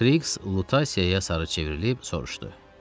Kiks Lutasiyaya sarı çevrilib soruşdu: